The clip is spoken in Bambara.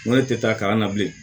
Ŋo ne tɛ taa kalan na bilen